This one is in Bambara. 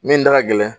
Min da ka gɛlɛn